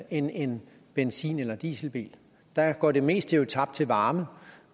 end en benzin eller dieselbil der går det meste jo tabt som varme